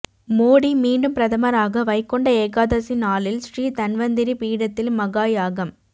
மோடி மீண்டும் பிரதமராக வைகுண்ட ஏகாதசி நாளில் ஸ்ரீ தன்வந்திரி பீடத்தில் மகா யாகம்